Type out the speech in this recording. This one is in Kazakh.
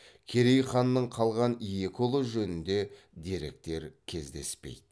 керей ханның қалған екі ұлы жөнінде деректер кездеспейді